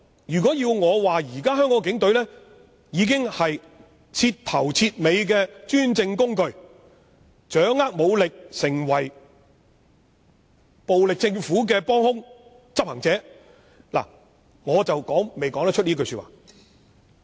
如果要我說，現時香港警察是徹頭徹尾的專政工具，他們掌握武力並成為暴力政府的幫兇或執行者，我未能這樣說。